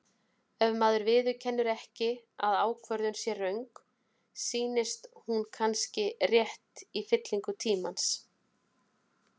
Ef maður viðurkennir ekki að ákvörðun sé röng, sýnist hún kannski rétt í fyllingu tímans.